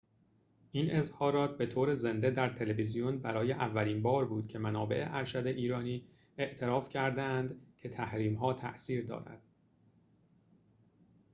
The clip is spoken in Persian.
این اظهارات به طور زنده در تلویزیون برای اولین بار بود که منابع ارشد ایرانی اعتراف کرده اند که تحریم ها تأثیر دارد